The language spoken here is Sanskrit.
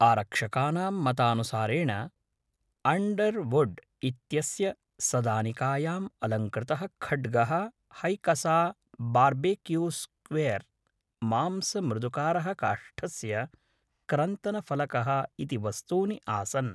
आरक्षकानां मतानुसारेण अण्डर्वुड् इत्यस्य सदानिकायाम् अलङ्कृतः खड्गः हैकसा बार्बेक्यू स्क्विर् मांसमृदुकारः काष्ठस्य क्रन्तनफलकः इति वस्तूनि आसन्